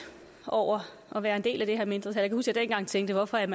over at være en del af det her mindretal og jeg dengang tænkte hvorfor er